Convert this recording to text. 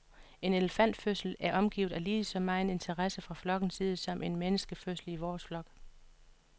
En elefantfødsel er omgivet af lige så megen interesse fra flokkens side som en menneskefødsel i vores flok.